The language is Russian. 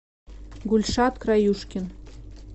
гульшат краюшкин